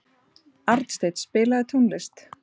Arnsteinn, spilaðu tónlist.